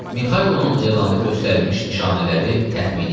Mixaylonun elanda göstərilmiş nişanələri təxmini idi.